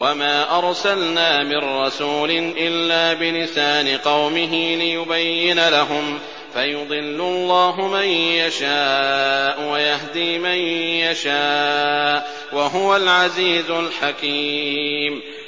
وَمَا أَرْسَلْنَا مِن رَّسُولٍ إِلَّا بِلِسَانِ قَوْمِهِ لِيُبَيِّنَ لَهُمْ ۖ فَيُضِلُّ اللَّهُ مَن يَشَاءُ وَيَهْدِي مَن يَشَاءُ ۚ وَهُوَ الْعَزِيزُ الْحَكِيمُ